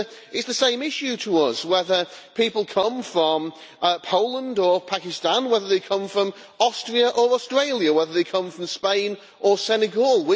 It is the same issue to us whether people come from Poland or Pakistan, whether they come from Austria or Australia, whether they come from Spain or Senegal.